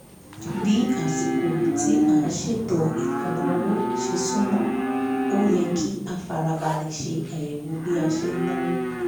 bí àsìkò tí a sètò ìlànà owó ṣe súmọ́ ó yẹ kí á farabalẹ̀ ṣe àyẹ̀wò bí a ṣe náwó